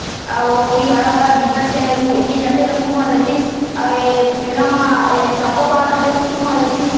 अउ ओती हरा-भरा दिखत ते उहा एती जाते तो खूब मजा आतिस अउ ए मेला म ए आ ए चोकोबर खाते त खूब मजा आतिस --